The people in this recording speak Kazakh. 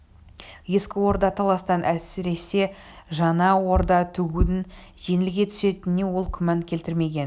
ескі орда таластан әлсіресе жаңа орда тігудің жеңілге түсетініне ол күмән келтірмеген